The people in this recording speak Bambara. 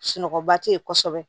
Sunɔgɔba tɛ ye kosɛbɛ